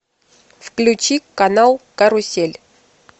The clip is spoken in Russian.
включи канал карусель